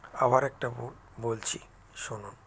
আবার একটা ব বলছি শুনুন